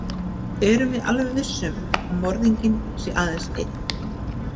Erum við alveg viss um að morðinginn sé aðeins einn?